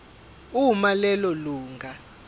uma lelo lunga